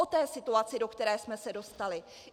O té situaci, do které jsme se dostali.